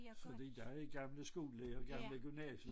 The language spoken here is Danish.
Fordi jeg er gammel skolelærer og gammel gymnasie